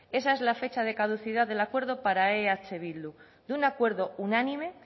esa es la fecha de caducidad del acuerdo para eh bildu de un acuerdo unánime